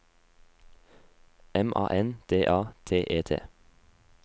M A N D A T E T